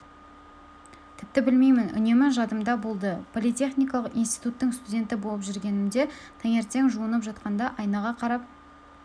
тіпті білмеймін үнемі жадымда болды политехникалық институттың студенті болып жүргенімде таңертең жуынып жатқанда айнаға қарап